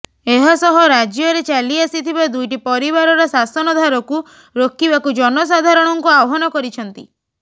ଏହାସହ ରାଜ୍ୟରେ ଚାଲି ଆସିଥିବା ଦୁଇଟି ପରିବାରର ଶାସନ ଧାରକୁ ରୋକିବାକୁ ଜନସାଧାରଣଙ୍କୁ ଆହ୍ବାନ କରିଛନ୍ତି